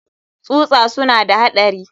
tsusa suna da haɗari.